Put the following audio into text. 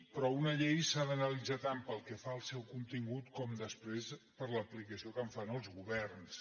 però una llei s’ha d’analitzar tant pel que fa al seu contingut com després per l’aplicació que en fan els governs